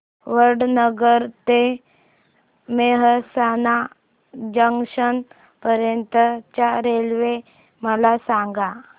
वडनगर ते मेहसाणा जंक्शन पर्यंत च्या रेल्वे मला सांगा